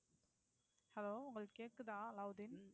Hello உங்களுக்கு கேக்குதா அலாவுதீன்?